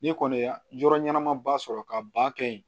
Ni kɔni ye ya yɔrɔ ɲɛnama ba sɔrɔ ka ba kɛ yen